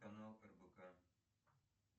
канал рбк